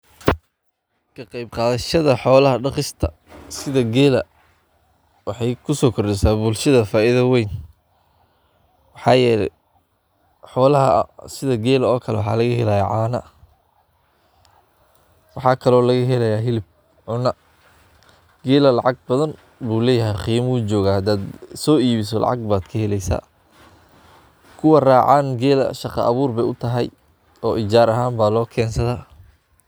Waa xoolo dhaqato aad u muhiim ugu ah shacabka Soomaaliyeed, gaar ahaan beelaha reer miyiga ee ku nool deegaannada kala duwan ee Soomaaliya, sida cidlada, dooxada, iyo meelaha dhuusaaraha ah, waana xoolo lagu qiyaaso hanti, qaran, iyo sharaf, waxaana laga helaa waxyaabo badan oo lagu maalloobo sida caanaha, hilibka, unkaha, iyo xataa harraadka, waxayna leeyihiin awood ay u qabsadaan xilliyada qoraxda kulushada iyo abaaraha oo ay ku badbaadaan.